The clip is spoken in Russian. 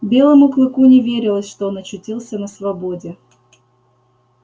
белому клыку не верилось что он очутился на свободе